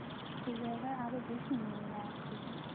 সেই জায়গায় আরো বেশি নিয়ে নিলো আমার থেকে